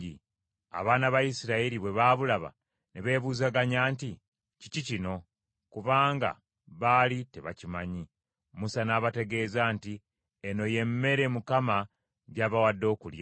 Abaana ba Isirayiri bwe baabulaba ne beebuzaganya nti, “Kiki kino?” Kubanga baali tebakimanyi. Musa n’abategeeza nti, “Eno ye mmere Mukama gy’abawadde okulya.